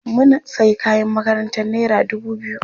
Mun sayi kayan makarantar naira dubu biyu.